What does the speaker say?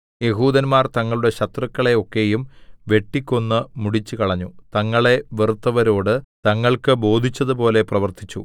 യെഹൂദന്മാർ തങ്ങളുടെ ശത്രുക്കളെ ഒക്കെയും വെട്ടിക്കൊന്ന് മുടിച്ചുകളഞ്ഞു തങ്ങളെ വെറുത്തവരോട് തങ്ങൾക്ക് ബോധിച്ചതുപോലെ പ്രവർത്തിച്ചു